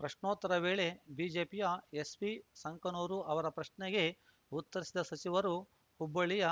ಪ್ರಶ್ನೋತ್ತರ ವೇಳೆ ಬಿಜೆಪಿಯ ಎಸ್‌ವಿ ಸಂಕನೂರು ಅವರ ಪ್ರಶ್ನೆಗೆ ಉತ್ತರಿಸಿದ ಸಚಿವರು ಹುಬ್ಬಳ್ಳಿಯ